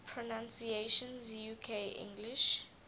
pronunciations uk english